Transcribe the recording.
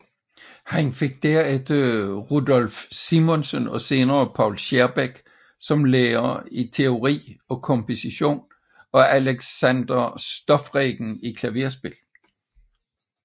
Han fik dernæst Rudolph Simonsen og senere Poul Schierbeck som lærer i teori og komposition og Alexander Stoffregen i klaverspil